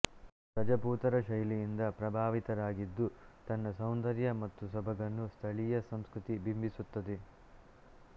ರಜಪೂತರ ಶೈಲಿಯಿಂದ ಪ್ರಭಾವಿತರಾಗಿದ್ದುತನ್ನ ಸೌಂದರ್ಯ ಮತ್ತು ಸೊಬಗನ್ನು ಸ್ಥಳೀಯ ಸಂಸ್ಕೃತಿ ಬಿಂಬಿಸುತ್ತದೆ